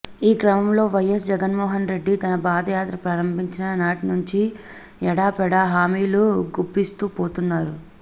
ఈ క్రమంలో వైఎస్ జగన్మోహన్ రెడ్డి తన పాదయాత్ర ప్రారంభించిన నాటినుంచి ఎడాపెడా హామీలు గుప్పిస్తూ పోతున్నారు